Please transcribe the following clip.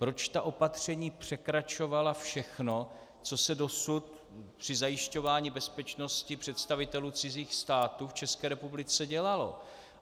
Proč ta opatření překračovala všechno, co se dosud při zajišťování bezpečnosti představitelů cizích států v České republice dělalo?